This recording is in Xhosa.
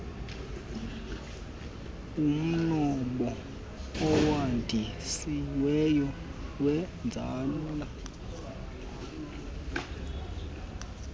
umnombo owandisiweyo weenzala